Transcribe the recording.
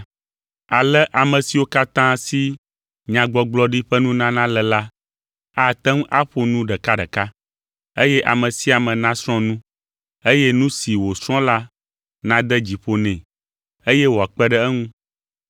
Ale ame siwo katã si nyagbɔgblɔɖi ƒe nunana le la ate ŋu aƒo nu ɖekaɖeka, eye ame sia ame nasrɔ̃ nu, eye nu si wòsrɔ̃ la nade dzi ƒo nɛ, eye wòakpe ɖe eŋu.